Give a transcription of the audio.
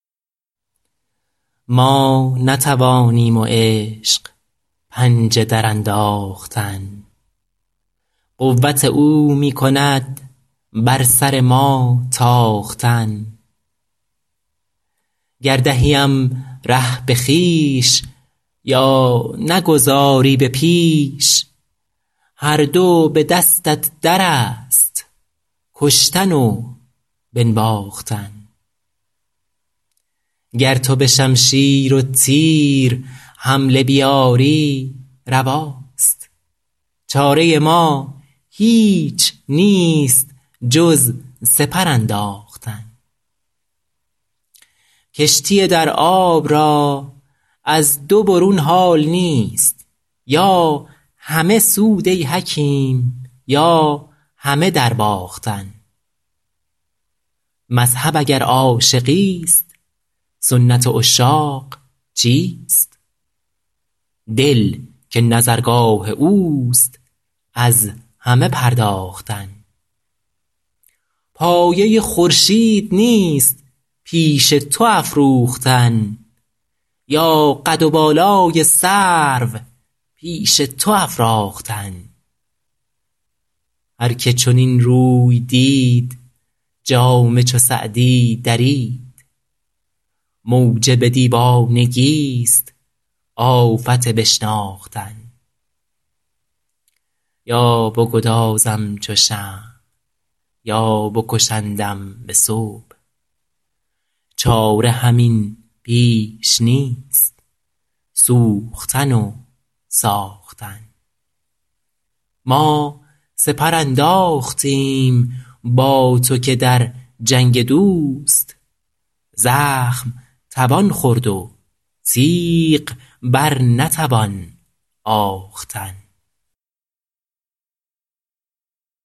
ما نتوانیم و عشق پنجه درانداختن قوت او می کند بر سر ما تاختن گر دهیم ره به خویش یا نگذاری به پیش هر دو به دستت در است کشتن و بنواختن گر تو به شمشیر و تیر حمله بیاری رواست چاره ما هیچ نیست جز سپر انداختن کشتی در آب را از دو برون حال نیست یا همه سود ای حکیم یا همه درباختن مذهب اگر عاشقیست سنت عشاق چیست دل که نظرگاه اوست از همه پرداختن پایه خورشید نیست پیش تو افروختن یا قد و بالای سرو پیش تو افراختن هر که چنین روی دید جامه چو سعدی درید موجب دیوانگیست آفت بشناختن یا بگدازم چو شمع یا بکشندم به صبح چاره همین بیش نیست سوختن و ساختن ما سپر انداختیم با تو که در جنگ دوست زخم توان خورد و تیغ بر نتوان آختن